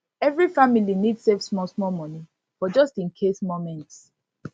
every family need save smallsmall money for just in case moments